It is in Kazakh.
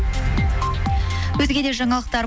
өзге де жаңалықтар